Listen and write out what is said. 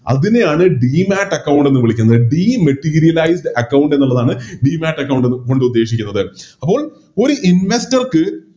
അതിനെയാണ് Demat account എന്ന് വിളിക്കുന്നത് Dematerialize account എന്നുള്ളതാണ് Demat account എന്ന് കൊണ്ടുദ്ദേശിക്കുന്നത് അപ്പോൾ ഒര് Investor ക്ക്